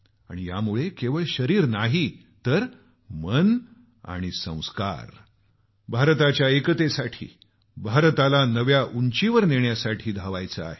आणि यामुळे केवळ शरीर नाही तर मन आणि संस्कार भारताच्या एकतेसाठी भारताला नव्या उंचीवर नेण्यासाठी धावायचं आहे